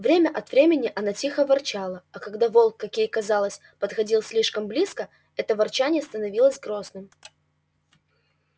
время от времени она тихо ворчала а когда волк как ей казалось подходил слишком близко это ворчание становилось грозным